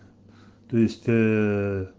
то есть